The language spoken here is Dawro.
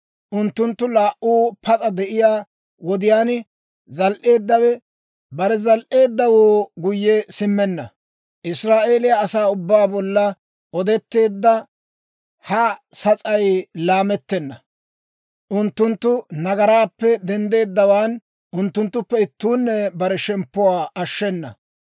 Unttunttu laa"uu pas'a de'iyaa wodiyaan, zal"eeddawe bare zal"eeddawoo guyye simmenna. Iraa'eliyaa asaa ubbaa bolla odeteedda ha sas'ay laamettena; unttunttu nagaraappe denddeeddawaan unttunttuppe ittuunne bare shemppuwaa ashshenna.